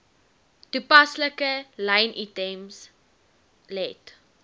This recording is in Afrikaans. toepaslike lynitems let